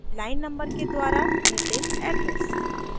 line numbers के द्वारा निर्दिष्ट address